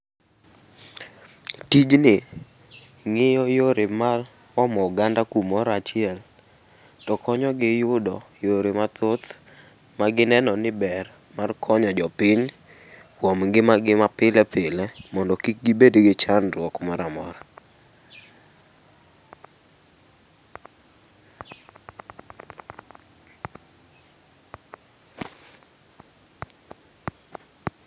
Tijni ng'iyo yore mar omo oganda kumoro achiel to konyogi yudo yore mathoth magineno ni ber konyo jopiny kuom ngimagi mapile pile mondo kik gibed gi chandruok moro amora.